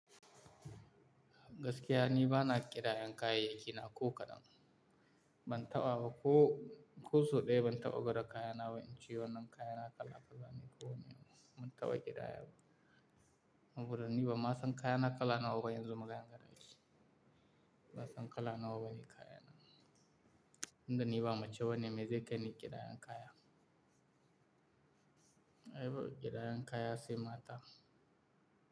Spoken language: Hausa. Gaskiya ni ba na kira yanka yi kayayyaki na ko kadan. Ban taɓa ba ko, ko soɗaya ban taɓa gwada kayana ba in ci wannan kayana kala-kala, ni ko ban taɓa kira yaba. Saboda ni ba ma san kayana kala nawa yanzu magayan kaɗai. Ba san kala nawa yayi kayana. Inda ni ba mace wane mai zai kai ni kira yanka ya. Ai ba kira yanka ya asi mata.